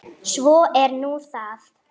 Svo er nú það.